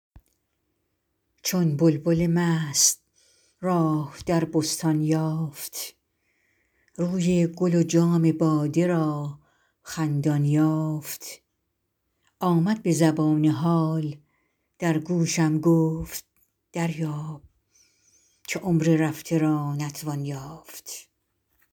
چون بلبل مست راه در بستان یافت روی گل و جام باده را خندان یافت آمد به زبان حال در گوشم گفت دریاب که عمر رفته را نتوان یافت